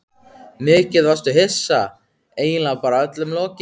Mikið varstu hissa, eiginlega bara öllum lokið.